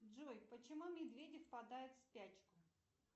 джой почему медведи впадают в спячку